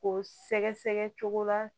Ko sɛgɛsɛgɛ cogo la